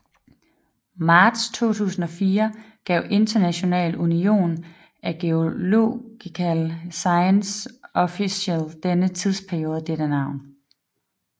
Marts 2004 gav International Union of Geological Sciences officielt denne tidsperiode dette navn